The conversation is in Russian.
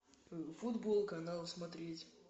футбол канал смотреть